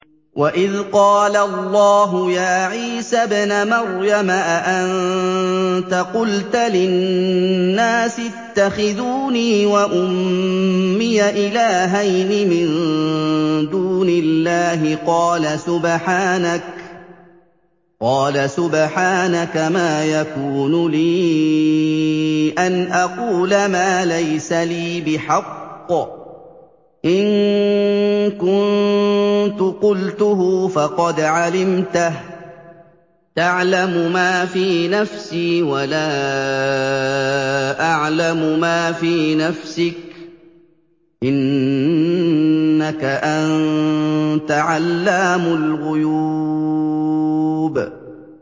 وَإِذْ قَالَ اللَّهُ يَا عِيسَى ابْنَ مَرْيَمَ أَأَنتَ قُلْتَ لِلنَّاسِ اتَّخِذُونِي وَأُمِّيَ إِلَٰهَيْنِ مِن دُونِ اللَّهِ ۖ قَالَ سُبْحَانَكَ مَا يَكُونُ لِي أَنْ أَقُولَ مَا لَيْسَ لِي بِحَقٍّ ۚ إِن كُنتُ قُلْتُهُ فَقَدْ عَلِمْتَهُ ۚ تَعْلَمُ مَا فِي نَفْسِي وَلَا أَعْلَمُ مَا فِي نَفْسِكَ ۚ إِنَّكَ أَنتَ عَلَّامُ الْغُيُوبِ